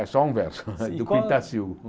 É só um verso, do Pintassilgo